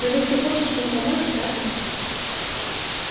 но ведь ты хочешь им помочь правда